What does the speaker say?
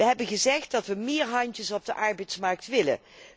We hebben gezegd dat we meer handen op de arbeidsmarkt willen.